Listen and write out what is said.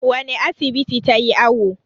wane asibiti ta yi awo?